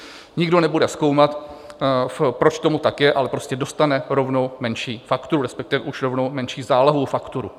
Nikdo nebude zkoumat, proč tomu tak je, ale prostě dostane rovnou menší fakturu, respektive už rovnou menší zálohovou fakturu.